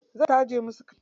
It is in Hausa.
Zai taje musu kai.